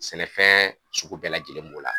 Sɛnɛfɛɛn sugu bɛɛ lajɛlen b'o la.